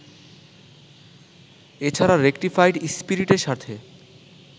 এছাড়া রেকটিফাইড স্পিরিটের সাথে